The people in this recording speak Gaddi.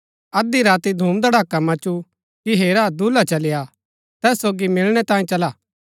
अध्धी राती धूमधड़ाका मचु कि हेरा दूल्हा चली आ तैस सोगी मिलणै तांयें चला